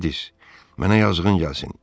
Gledis, mənə yazığın gəlsin.